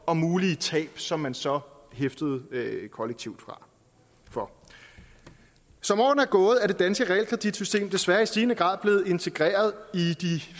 og mulige tab som man så hæftede kollektivt for som årene er gået er det danske realkreditsystem desværre i stigende grad blevet integreret i de